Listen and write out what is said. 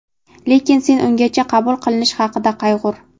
Lekin sen ungacha qabul qilinish haqida qayg‘ur.